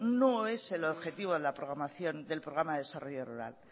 no es el objetivo de la programa del desarrollo rural